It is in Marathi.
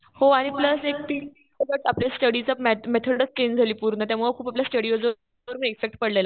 हो आणि प्लस ती आपली स्टडीची मेथडच पूर्ण चेंज झाली पूर्ण. त्यामुळं पूर्ण स्टडीवर इम्पॅक्ट पडलेला.